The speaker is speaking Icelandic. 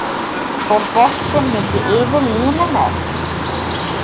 Fór boltinn ekki yfir línuna?